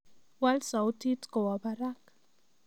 Waal sautit kowaa Barak